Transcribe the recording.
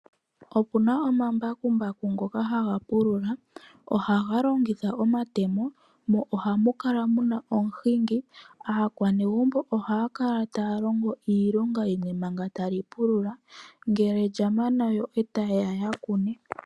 Opuna omambakumbaku ngoka haga pulula ohaga longitha omatemo mo ohamu kala muna omuhingi. Aakwanegumbo ohaya kala taya longo iilonga yimwe manga tali pulu ngele lya mana yo etayeya ya kune.